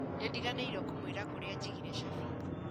Nĩndiganĩirwo kũmwĩra kũrĩa njigire cabi